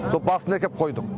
сол басына әкеп қойдық